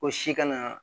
Ko si kana